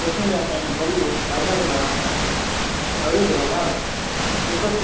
જે તે રાસાયણિક ક્રિયા અવોલનમાં આવે ચોક્કસ